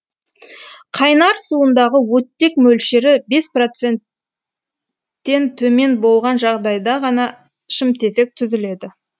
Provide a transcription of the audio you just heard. қайнар суындағы оттек мөлшері бес проценттен төмен болған жағдайда ғана шымтезек түзіледі